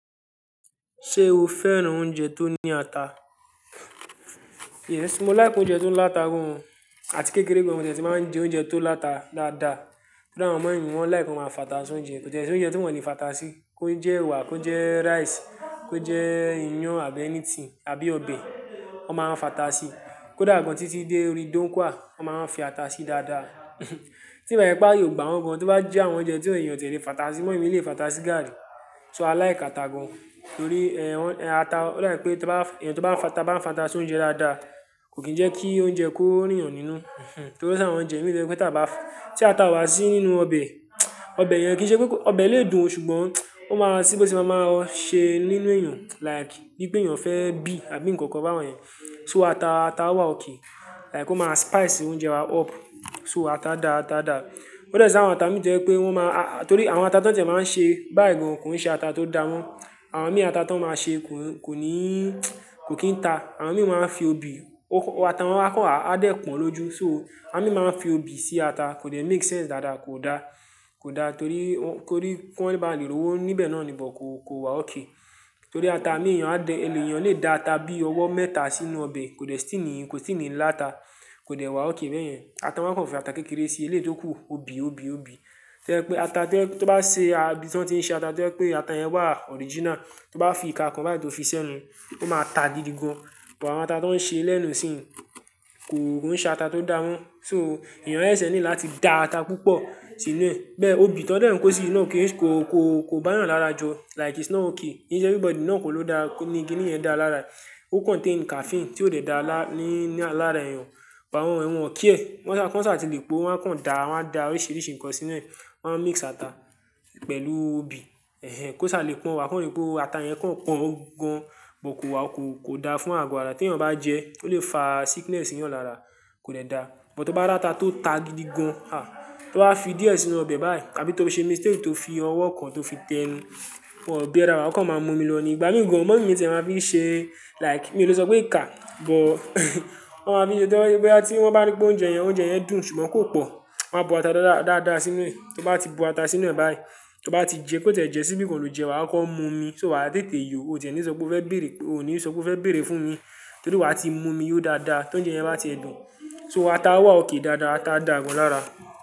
Ṣé o fẹ́ràn oúnjẹ tó ní ata? Yes, mo láìki oúnjẹ tó ń láta gan àti kékeré gan. Àwọn ọmọ tìẹ̀ tí máa ń jẹ oúnjẹ tó láta dáadáa. Kódà àwọn mọmí mí, wọ́n láìkan máa ń fatasi oúnjẹ. Kò tiẹ́ ṣí oúnjẹ tí wọ́n kò ní fatasi. Kó jẹ́ ẹwà, kó jẹ́ rice, kó jẹ́ iyán àbí anything àbí ọbẹ̀, wọ́n máa ń fatasi. Kódà gan títí dé orí dónkúà, wọ́n máa ń fi ata sí dáadáa. Tí ìba sẹ̀ pa yóò gbà wọ́n gan, tó bá jẹ́ àwọn oúnjẹ tí èèyàn tìẹ̀ lé fatasi, mọyi mí lè fatasi gari. So a láìkà ata gan torí, ẹ́, ata, wọ́n dà pé tó bá, èèyàn tó bá ń fata bá ń fatasi oúnjẹ dáadáa, kò kí ń jẹ́ kí oúnjẹ kó rí èèyàn nínú. Torí ṣáì bá ọmọ jẹun, ìwé rẹ pé tí a bá, tí ata wà sí nínú ọbẹ̀, ọbẹ̀ yẹn kì í ṣe pé kó, ọbẹ̀ lè dùn o ṣùgbọ́n ó máa sí bí ó ṣe máa máa ṣe nínú èèyàn. Like, bí pé èèyàn fẹ́ bí àbí nǹkan kan báwọ́n yẹn. So ata, ata wà òkè. Like ó máa spice oúnjẹ wa up. So ata dá ata dà. Kódà ṣáì àwọn ata mi jẹ́ pé wọ́n máa, torí àwọn ata tó tìẹ̀ máa ń ṣe báyìí gan kò ń ṣe ata tó dáwọ́n. Àwọn mí ata tó máa ṣe kò ní, kò kín ta. Àwọn amí máa ń fi obì, ata wọ́n kó àwọn adẹ̀ pon lóju. So awon mí máa ń fi obì sí ata. Kò lè make sense dáadáa, kò da. Kò da torí wọ́n, torí kí wọ́n bá lè rówó níbẹ̀ náà ni bọ́kọ̀ kò wà òkè. Torí ata amí èèyàn adé, ẹni èèyàn lè da ata bí i ọwọ́ mẹ́ta sínú ọbẹ̀, kò lè sì ní, kò sì ní ń lá ata. Kò lè wà òkè bẹ́yẹn. Ata wọ́n kò fi ata kékeré si, eléyìí tó kù, obì, obì, obì. Jẹ́ pé ata tí ẹ, tó bá ṣe, àbí tí wọ́n ti ń ṣe ata jẹ́ pé ata yẹn wà original, tó bá fi ìka kan báyìí tó fi sẹ́nu, ó máa ta gidi gan. Ìpà àwọn ata tó ń ṣe lẹ́nu sì ń kò ń ṣe ata tó dáwọ́n. So èèyàn ẹ̀ṣẹ̀ ní láti da ata púpọ̀ sínú rẹ̀. Bẹ́ẹ̀ obì tí wọ́n dẹ̀ kó sí inú o kì í ṣe, kò, kò, kò bá èèyàn lára jọ. Like it's not okay. Kí sẹ́ everybody náà kò ló dá, kò ní kí ìdí yẹn dá lára rẹ̀. Ó contain caffeine tí ó dè dá alá, ní alára èèyàn. Ìpà àwọn rẹ̀ wọn ò kíẹ́. Wọ́n sá, wọ́n sá à ti lè po, wọ́n kàn da, wọ́n da oríṣìíríṣìí nǹkan sínú rẹ̀. Wọ́n máa ń mix ata pẹ̀lú obì. Kó ṣa lè pọ́n wa kọ̀ ní pé ata yẹn kàn pọ́n gan, bọ kò wà kò, kò da fún àgọ́ ara tí èèyàn bá jẹ́, ó lè fa sickness sí yan lara. Kò lè da. Bó tó bá ra ata tó ta gidi gan, à, tó bá fi díẹ̀ sínú ọbẹ̀ báyìí àbí tó fi ṣe mistake tó fi ọwọ́ kan tó fi tẹnu, wọ́n ó bí ẹra wa. Wọ́n kàn máa ń mú mi lọ ní, ìgbà mí gan mọmí mí tìẹ̀ máa ń fi ṣe like, mi ò lè sọ pé ìka, but wọ́n máa fi ṣe bí i bá, tí wọ́n bá rí pé oúnjẹ yẹn, oúnjẹ yẹn dùn ṣùgbọ́n kò pọ̀, wọ́n máa bu ata dáadáa, dáadáa sí inú rẹ̀. Tó bá ti bu ata sínú rẹ̀ báyìí, tó bá ti jẹ pé kò tẹ̀ jẹ́ síbí gan kò lè jẹ́ wa, ó kàn mú mi. So wàá tètè yọ, o tẹ̀ ní sọ pé ó fẹ́ bèrè, o ní sọ pé ó fẹ́ bèrè fún mi torí wàá ti mú mi yó dáadáa. Tó ń jẹ́ yẹn máa ti ẹ dùn. So ata w.